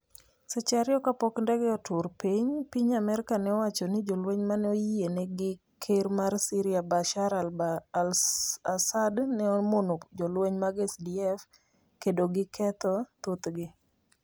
Seche ariyo kapok ndege otur piny, piny Amerka ne owacho ni jolweny mane oyiene gi ker mar Syria Bashar al-Assad ne omono jolweny mag SDF kendo giketho thothgi.